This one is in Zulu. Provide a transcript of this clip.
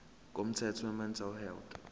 komthetho wemental health